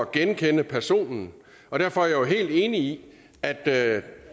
genkende personen og derfor er jeg er helt enig i at at